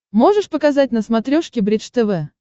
можешь показать на смотрешке бридж тв